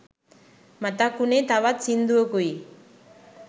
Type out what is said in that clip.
මතක් වුනේ තවත් සිංදුවකුයි